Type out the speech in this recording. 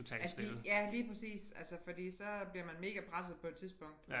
Ja fordi ja lige præcis altså fordi så bliver man megapresset på et tidspunkt